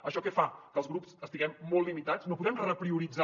això què fa que els grups estiguem molt limitats que no puguem reprioritzar